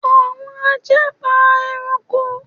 Awọn aja npa ẹranko